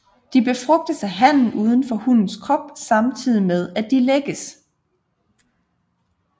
De befrugtes af hannen udenfor hunnens krop samtidig med at de lægges